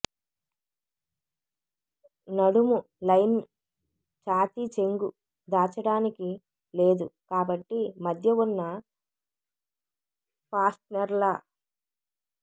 నడుము లైన్ ఛాతీ చెంగు దాచడానికి లేదు కాబట్టి మధ్య ఉన్న ఫాస్ట్నెర్ల